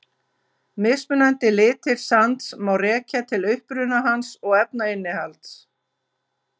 Mismunandi litir sands má rekja til uppruna hans og efnainnihalds.